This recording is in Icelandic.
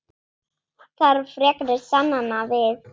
Þarf frekari sannana við?